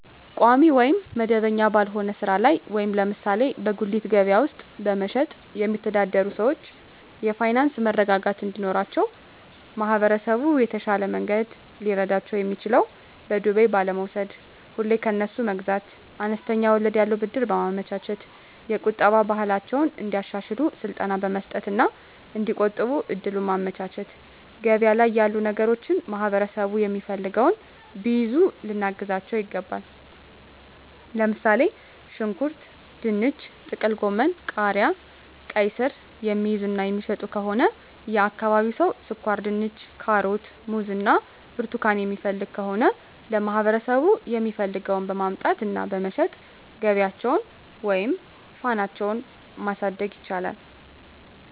ቋሚ ወይም መደበኛ ባልሆነ ሥራ ላይ (ለምሳሌ በጉሊት ገበያ ውስጥ በመሸጥ)የሚተዳደሩ ሰዎች የፋይናንስ መረጋጋት እንዲኖራቸው ማህበረሰቡ በተሻለ መንገድ ሊረዳቸው የሚችለው በዱቤ ባለመውስድ፤ ሁሌ ከነሱ መግዛት፤ አነስተኛ ወለድ ያለው ብድር በማመቻቸት፤ የቁጠባ ባህላቸውን እንዲያሻሽሉ ስልጠና መስጠት እና እዲቆጥቡ እድሉን ማመቻቸት፤ ገበያ ላይ ያሉ ነገሮችን ማህበረሠቡ የሚፈልገውን ቢይዙ ልናግዛቸው ይገባል። ለምሣሌ፦ ሽንኩርት፤ ድንች፤ ጥቅልጎመን፤ ቃሪያ፤ ቃይስር፤ የሚይዙ እና የሚሸጡ ከሆነ የአካባቢው ሠው ስኳርድንች፤ ካሮት፤ ሙዝ እና ብርቱካን የሚፈልግ ከሆነ ለማህበረሰቡ የሚፈልገውን በማምጣት እና በመሸጥ ገቢያቸውን ወይም ፋናሳቸው ማሣደግ ይችላሉ።